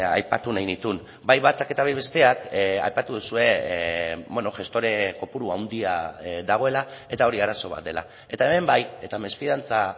aipatu nahi nituen bai batak eta bai besteak aipatu duzue gestore kopuru handia dagoela eta hori arazo bat dela eta hemen bai eta mesfidantza